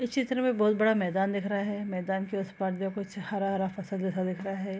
इस चित्र में बहोत बड़ा मैदान दिख रहा है मैदान के उस पार जो कुछ हरा-हरा फसल जैसा दिख रहा है।